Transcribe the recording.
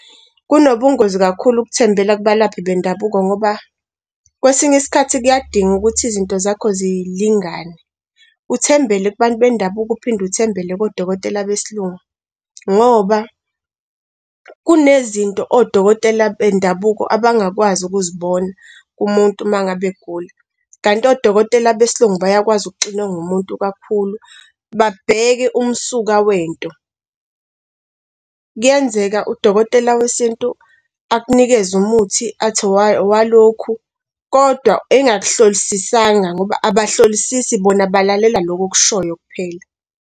Kunobungozi kakhulu ukuthembela kubalaphi bendabuko ngoba kwesinye isikhathi kuyadinga ukuthi izinto zakho zilingane. Uthembele kubantu bendabuko uphinde uthembele kodokotela besilungu ngoba kunezinto odokotela bendabuko abangakwazi ukuzibona kumuntu uma ngabe egula, kanti odokotela besilungu bayakwazi okuxinwa komuntu kakhulu, babheke umsuka wento. Kuyenzeka udokotela wesintu akunikeze umuthi athi owalokhu kodwa engakuhlolisisanga ngoba abahlolisisi bona balalela lokho okushoyo kuphela.